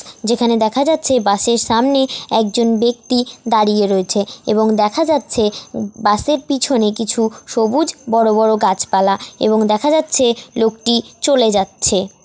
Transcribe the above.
যেখানে দেখা যাচ্ছে বাসের সামনে একজন ব্যক্তি দাঁড়িয়ে রয়েছে এবং দেখা যাচ্ছে বাসের পিছনে কিছু সবুজ বড় বড় গাছপালা এবং দেখা যাচ্ছে লোকটি চলে যাচ্ছে।